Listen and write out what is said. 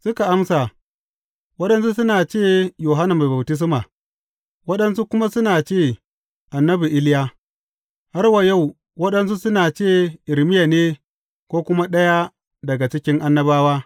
Suka amsa, Waɗansu suna ce Yohanna Mai Baftisma; waɗansu kuma suna ce annabi Iliya; har wa yau waɗansu suna ce Irmiya ne ko kuma ɗaya daga cikin annabawa.